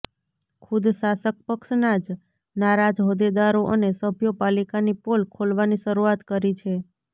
ખુદ શાસક પક્ષના જ નારાજ હોદ્દેદારો અને સભ્યો પાલિકાની પોલ ખોલવાની શરૂઆત કરી છે